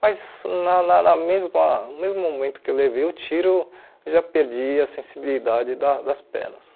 Mas na na na mesma no mesmo momento que eu levei o tiro, já perdi a sensibilidade da das pernas.